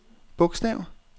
bogstav